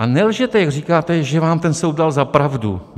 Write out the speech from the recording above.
A nelžete, když říkáte, že vám ten soud dal za pravdu.